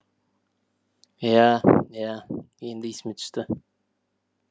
иә иә енді есіме түсті